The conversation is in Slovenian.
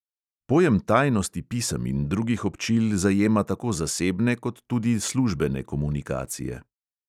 Pojem tajnosti pisem in drugih občil zajema tako zasebne kot tudi službene komunikacije.